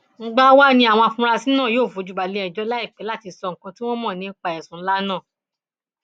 mgbà wàá ní àwọn afurasí náà yóò fojú balẹẹjọ láìpẹ láti sọ nǹkan tí wọn mọ nípa ẹsùn ńlá náà